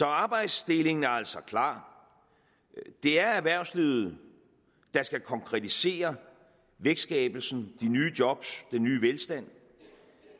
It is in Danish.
arbejdsdelingen er altså klar det er erhvervslivet der skal konkretisere vækstskabelsen de nye job den nye velstand